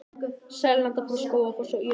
Seljalandsfoss, Skógafoss og Írárfoss.